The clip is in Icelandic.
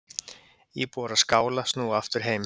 Íbúar á Skála snúa aftur heim